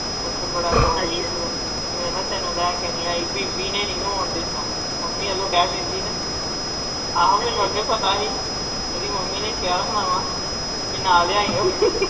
ਓਥੇ ਬੜਾ ਵੇਖਲਾ ਤੈਨੂੰ ਲੈਕੇ ਨੀ ਆਈ ਬੀਬੀ ਨੇ ਤੈਨੂੰ ਨਹੀਓ ਆਉਣ ਦਿੱਤਾ ਮਮ੍ਮੀ ਵੱਲੋਂ ਕਹਿ ਦਿੰਦੀ ਨਾ ਆਹ ਮੈਨੂੰ ਅੱਗੇ ਈ ਪਤਾ ਹੀ ਤੇਰੀ ਮਮ੍ਮੀ ਨੇ ਕਿਆ ਹੋਣਾ ਕਿ ਨਾ ਲਿਆਈਂ